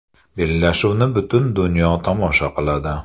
Bellashuvni butun dunyo tomosha qiladi.